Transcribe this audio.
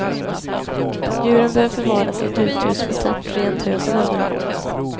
Djuren bör förvaras i ett uthus med torrt rent hö som underlag.